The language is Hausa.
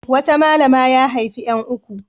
Wata malama ya haifi ƴan uku.